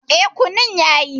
E, kunun yayi.